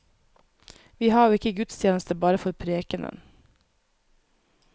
Vi har jo ikke gudstjeneste bare for prekenen.